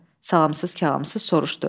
Salamsız kəlamsız soruşdu.